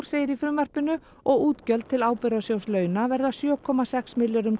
segir í frumvarpinu og útgjöld til Ábyrgðarsjóðs launa verða sjö komma sex milljörðum